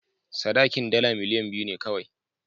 Sadakin dala miliyan biyu ne kawai.